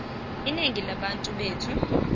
inengi labantu bethu